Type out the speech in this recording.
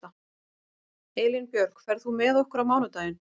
Elínbjörg, ferð þú með okkur á mánudaginn?